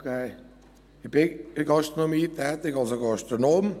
Ich bin in der Gastronomie tätig, also Gastronom.